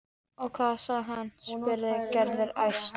Og hvað sagði hann? spurði Gerður æst.